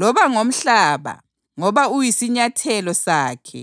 loba ngomhlaba ngoba uyisinyathelo sakhe